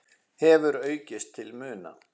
hefur aukist til muna.